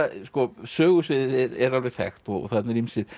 sögusviðið er alveg þekkt og þarna eru